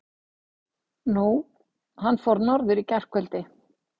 Nú. hann fór norður í gærkvöldi.